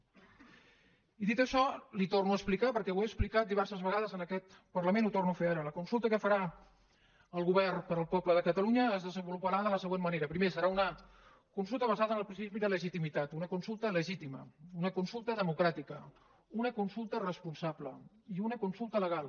i dit això li ho torno a explicar perquè ho he explicat diverses vegades en aquest parlament ho torno a fer ara la consulta que farà el govern per al poble de catalunya es desenvoluparà de la següent manera primer serà una consulta basada en el principi de legitimitat una consulta legitima una consulta democràtica una consulta responsable i una consulta legal